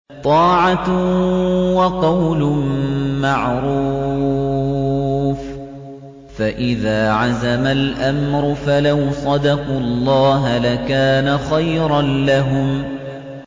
طَاعَةٌ وَقَوْلٌ مَّعْرُوفٌ ۚ فَإِذَا عَزَمَ الْأَمْرُ فَلَوْ صَدَقُوا اللَّهَ لَكَانَ خَيْرًا لَّهُمْ